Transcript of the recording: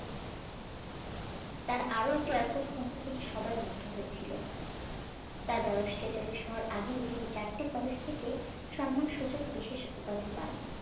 তার আর একটি অদ্ভুত ক্ষমতা দেখে সবাই মুগ্ধ হয়েছিল তার বয়েস ছেচল্লিশ হওয়ার আগেই তিনি চারটে college থেকে সম্মান সূচক বিশেষ উপাধি পান